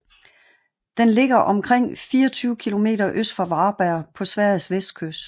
Den ligger omkring 24 km øst for Varberg på Sveriges vestkyst